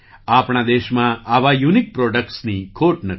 આપણા દેશમાં આવાં યુનિક પ્રૉડક્ટ્સની ખોટ નથી